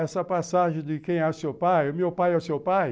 Essa passagem de quem é o seu pai, meu pai é o seu pai?